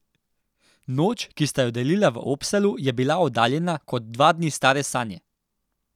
Noč, ki sta jo delila v Oppsalu, je bila oddaljena kot dva dni stare sanje.